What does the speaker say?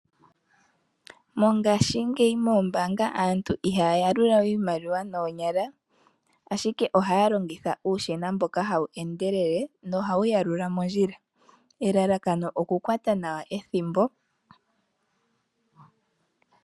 Mongashingeyi moombaanga aantu ihaya yalula we iimaliwa noonyala ashike ohaya longitha uushina mboka hawu endelele nohawu yalula mondjila. Elalakano okukwata nawa ethimbo.